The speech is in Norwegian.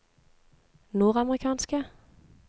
nordamerikanske